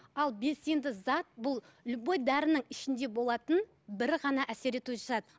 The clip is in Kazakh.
ал белсенді зат бұл любой дәрінің ішінде болатын бір ғана әсер етуші зат